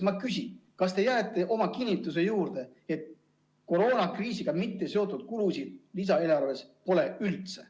Ma küsin, kas te jääte oma kinnituse juurde, et koroonakriisiga mitteseotud kulusid lisaeelarves üldse ei ole.